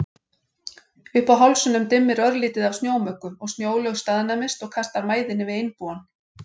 Uppi á hálsinum dimmir örlítið af snjómuggu og Snjólaug staðnæmist og kastar mæðinni við Einbúann.